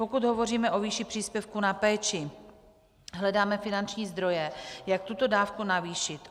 Pokud hovoříme o výši příspěvku na péči, hledáme finanční zdroje, jak tuto dávku navýšit.